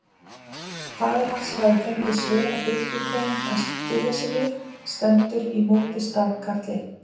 Faðir hans hafði fengið svera birkigrein að styðja sig við: stendur í móti stafkarl einn.